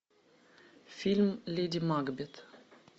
фильм леди макбет